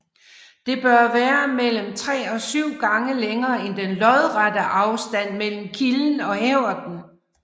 Det bør være mellem 3 og 7 gange længere end den lodrette afstand mellem kilden og hæverten